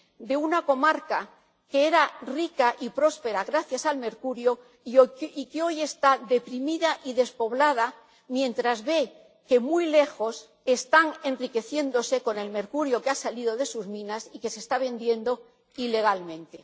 De una comarca que era rica y próspera gracias al mercurio y que hoy está deprimida y despoblada mientras ve que muy lejos están enriqueciéndose con el mercurio que ha salido de sus minas y que se está vendiendo ilegalmente.